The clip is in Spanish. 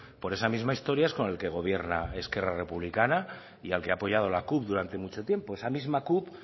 por esa misma historia es con el que gobierna esquerra republicana y al que ha apoyado la cup durante mucho tiempo esa misma cup